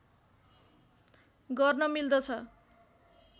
गर्न मिल्दछ